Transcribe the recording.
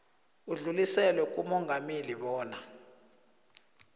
udluliselwe kumongameli bona